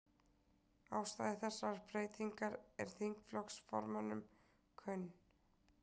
Ástæða þessarar breytingar er þingflokksformönnum kunn